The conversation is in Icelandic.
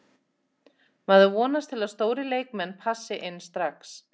Maður vonast til að stórir leikmenn passi inn strax.